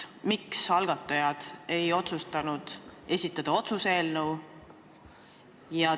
Miks ei otsustanud algatajad esitada otsuse eelnõu?